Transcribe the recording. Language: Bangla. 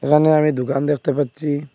এখানে আমি দোকান দেকতে পাচ্চি।